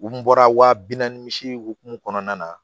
U bɔra waa bi naani misi hukumu kɔnɔna na